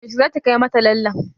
Yaushe zaki kai mata lallen?